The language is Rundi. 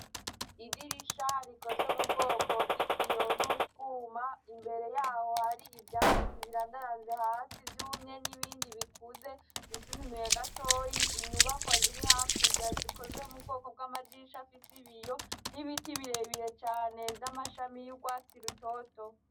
Idirisha rikozwe mu bwoko bw'ikiyo n'utwuma imbere yaho hari ivyatsi birandaranze hasi, ivyumye n'ibindi bikuze vyisununuye gatoyi inyubakwa ziri hakurya zikozwe mu bwoko bw'amadirisha afise ibiyo n'ibiti birebire cane vy'amashami y'urwatsi rutoto.